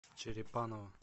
черепаново